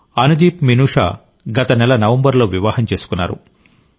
అనుదీప్ మినుషా గత నెల నవంబర్లో వివాహం చేసుకున్నారు